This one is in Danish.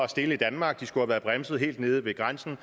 stille i danmark de skulle have været bremset helt nede ved grænsen